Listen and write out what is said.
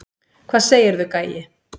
Hvað segirðu, gæi?